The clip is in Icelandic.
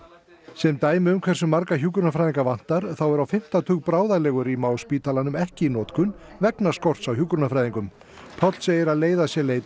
sem dæmi um hversu marga hjúkrunarfræðinga vantar þá er á fimmta tug bráðalegurýma á spítalanum ekki í notkun vegna skorts á hjúkrunarfræðingum Páll segir að leiða sé leitað